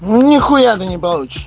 ну нехуя ты не получишь